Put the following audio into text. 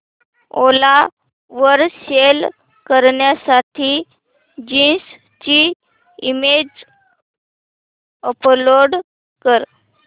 ओला वर सेल करण्यासाठी जीन्स ची इमेज अपलोड कर